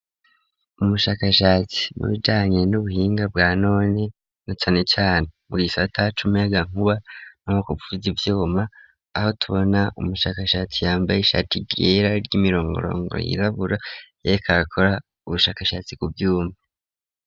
Umushakashatsi mu bijanye n'ubuhinga bwa none na tsanechan bugiso atacumeagankuba na oko fuza ibyoma aho tubona umushakashatsi yambaye ishati giera ry'imirongorongo y'irabura yarekagakora ubushakashatsi ku vyuma.